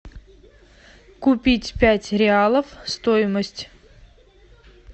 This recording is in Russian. купить пять реалов стоимость